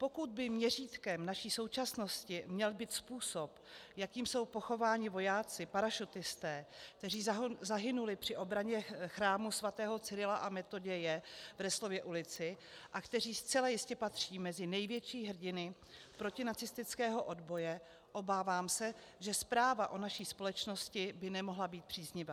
Pokud by měřítkem naší současnosti měl být způsob, jakým jsou pochováni vojáci, parašutisté, kteří zahynuli při obraně chrámu svatého Cyrila a Metoděje v Resslově ulici a kteří zcela jistě patří mezi největší hrdiny protinacistického odboje, obávám se, že zpráva o naší společnosti by nemohla být příznivá.